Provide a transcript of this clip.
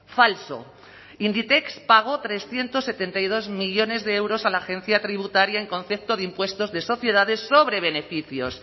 falso inditex pagó trescientos setenta y dos millónes de euros a la agencia tributaria en concepto de impuestos de sociedades sobre beneficios